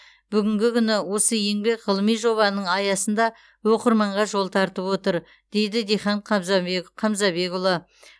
бүгінгі күні осы еңбек ғылыми жобаның аясында оқырманға жол тартып отыр дейді дихан қамзабекұлы